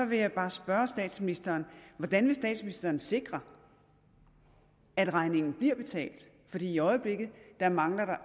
vil jeg bare spørge statsministeren hvordan vil statsministeren sikre at regningen bliver betalt i øjeblikket mangler der